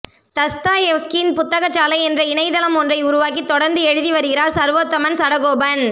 தஸ்தாயெவ்ஸ்கியின் புத்தக சாலை என்ற இணையதளம் ஒன்றை உருவாக்கி தொடர்ந்து எழுதி வருகிறார் சர்வோத்தமன் சடகோபன்